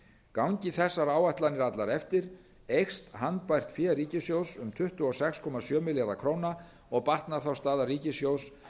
gangi þessar áætlanir allar eftir eykst handbært fé ríkissjóðs um tuttugu og sex komma sjö milljarða króna og batnar þá staða ríkissjóðs